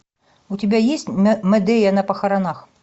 у тебя есть мэдея на похоронах